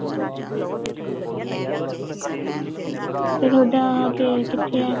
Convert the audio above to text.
ਤੇ ਤੁਹਾਡਾ ਕੇ ਕਿੱਥੇ ਏ